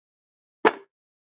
Hvað hafði